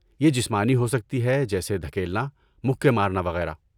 یہ جسمانی ہو سکتی ہے جیسے دھکیلنا، مکے مارنا وغیرہ۔